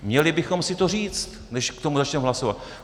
Měli bychom si to říct, než k tomu začneme hlasovat.